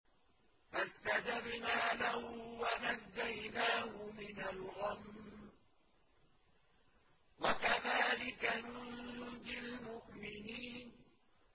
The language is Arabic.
فَاسْتَجَبْنَا لَهُ وَنَجَّيْنَاهُ مِنَ الْغَمِّ ۚ وَكَذَٰلِكَ نُنجِي الْمُؤْمِنِينَ